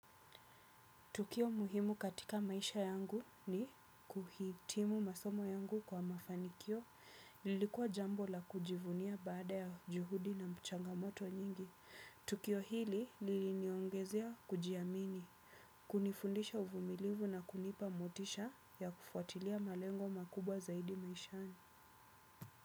Tukio muhimu katika maisha yangu ni kuhitimu masomo yangu kwa mafanikio. Lilikuwa jambo la kujivunia baada ya juhudi na changamoto nyingi. Tukio hili liliniongezea kujiamini. Kunifundisha uvumilivu na kunipa motisha ya kufuatilia malengo makubwa zaidi maishani.